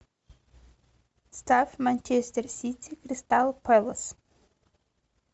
ставь манчестер сити кристал пэлас